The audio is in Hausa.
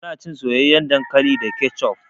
Ana cin soyayyan dankali da kecop.